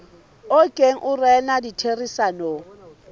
o neng o rena ditherisanong